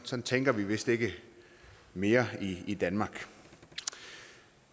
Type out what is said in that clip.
tænker vi vist ikke mere i danmark